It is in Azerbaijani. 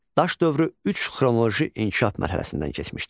Daş dövrü üç xronoloji inkişaf mərhələsindən keçmişdir.